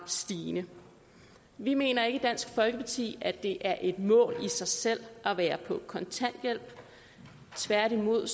stigende vi mener ikke i dansk folkeparti at det er et mål i sig selv at være på kontanthjælp tværtimod